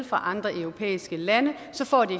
fra andre europæiske lande så får de